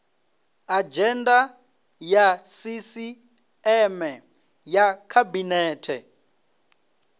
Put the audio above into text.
adzhenda ya sisieme ya khabinete